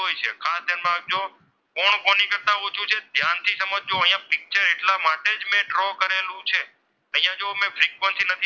ઓછું છે ધ્યાનથી સમજજો અહીંયા picture એટલા માટે જ મેં draw કરેલું છે અહીંયા જો મેં ફ્રિકવન્સી નથી,